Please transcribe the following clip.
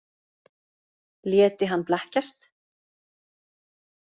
Léti hann blekkjast?